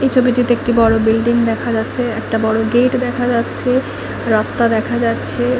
বড়ো বিল্ডিং দেখা যাচ্ছে একটা বড়ো গেট দেখা যাচ্ছে রাস্তা দেখা যাচ্ছে ।